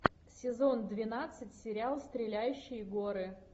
сезон двенадцать сериал стреляющие горы